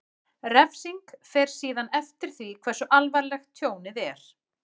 Refsing fer síðan eftir því hversu alvarlegt tjónið er.